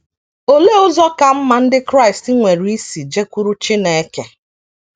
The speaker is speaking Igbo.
Olee ụzọ ka mma ndị Kraịst nwere isi jekwuru Chineke?